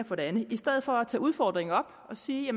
for det andet i stedet for at tage udfordringen op og sige